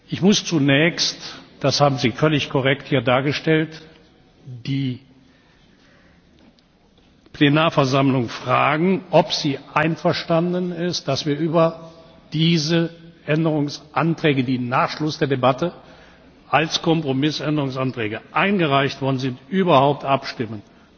Ich muss zunächst das haben Sie hier völlig korrekt dargestellt die Plenarversammlung fragen, ob sie einverstanden ist, dass wir über diese Änderungsanträge, die nach Schluss der Debatte als Kompromissänderungsanträge eingereicht worden sind, überhaupt abstimmen.